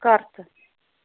карта